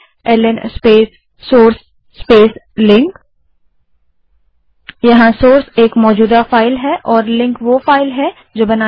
ल्न space source space link जहाँ source एक मौजूदा फाइल है और लिंक वो फाइल है जो बनानी है